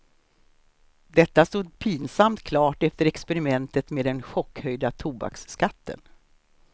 Detta stod pinsamt klart efter experimentet med den chockhöjda tobaksskatten.